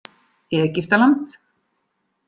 Egyptaland